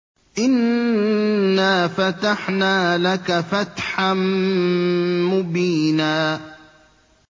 إِنَّا فَتَحْنَا لَكَ فَتْحًا مُّبِينًا